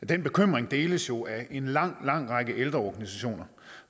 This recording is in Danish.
den bekymring deles jo af en lang lang række ældreorganisationer